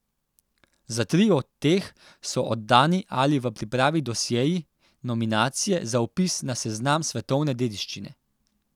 Za tri od teh so oddani ali v pripravi dosjeji nominacije za vpis na seznam svetovne dediščine.